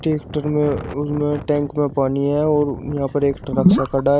एक टक मे उसमें टैंक में पानी है और यहां पर एक ट्रक सा खड़ा है।